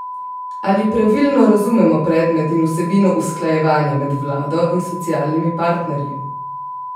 Ali pravilno razumemo predmet in vsebino usklajevanja med vlado in socialnimi partnerji?